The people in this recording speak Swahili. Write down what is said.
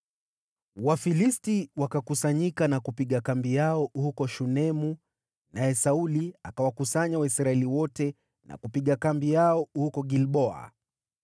Wafilisti wakakusanyika na kupiga kambi yao huko Shunemu, naye Sauli akawakusanya Waisraeli wote na kupiga kambi yao huko Gilboa.